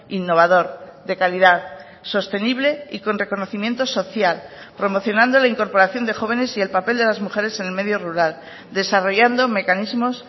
innovador de calidad sostenible y con reconocimiento social promocionando la incorporación de jóvenes y el papel de las mujeres en el medio rural desarrollando mecanismos